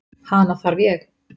Hana þarf ég.